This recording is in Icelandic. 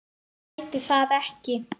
Hún gæti það ekki.